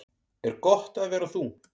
Er gott að vera þú?